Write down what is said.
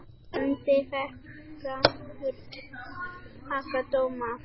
Myndin fékk fremur slaka dóma.